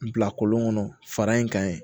Bila kɔlɔn kɔnɔ fara in kan yen